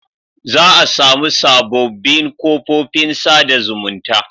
Za a samu sabobbin kofofin sa da zumunta